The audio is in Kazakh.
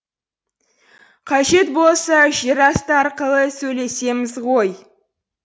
қажет болса жер асты арқылы сөйлесеміз ғой